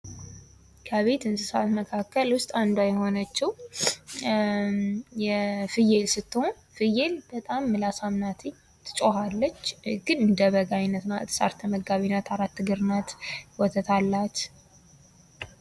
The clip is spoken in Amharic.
ከቤት እንስሳት መካከል ውስጥ አንዷ የሆነችው ፍየል ስትሆን ፍየል በጣም ምላሳም ናትኝ ትጮኻለች ግን እንደበግ አይነት ናት ሳር ተመጋቢ ናት አራት እግር ናት ወተት አላት።